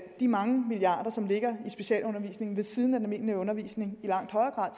de mange milliarder som ligger i specialundervisningen ved siden af den almindelige undervisning i langt højere grad